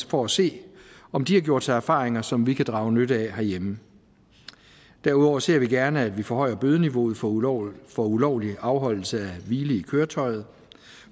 for at se om de har gjort sig erfaringer som vi kan drage nytte af herhjemme derudover ser vi gerne at vi forhøjer bødeniveauet for ulovlig for ulovlig afholdelse af hvile i køretøjet